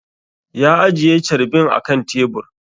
Ya ajiye carbin a kan tebur